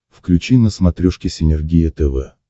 включи на смотрешке синергия тв